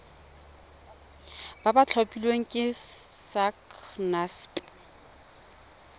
ba ba tlhophilweng ke sacnasp